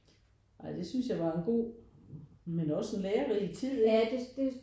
Nej det synes jeg var en god men også en lærerig tid ikke